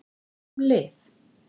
En hvað um lyf?